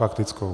Faktickou?